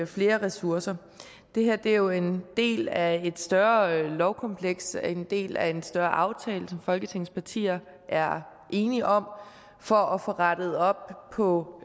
flere ressourcer det her er jo en del af et større lovkompleks en del af en større aftale som folketingets partier er enige om for at få rettet op på